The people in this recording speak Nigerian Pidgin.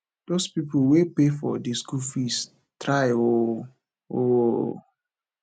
those people wey pay for the school fees try oo oo